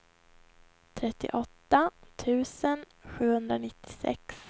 trettioåtta tusen sjuhundranittiosex